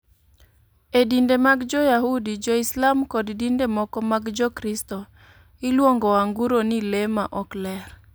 E dinde mag Jo-Yahudi, Jo-Islam, kod dinde moko mag Jokristo, iluongo anguro ni le ma ok ler.